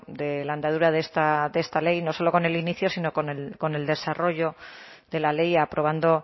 de la andadura de esta ley no solo con el inicio sino con el desarrollo de la ley aprobando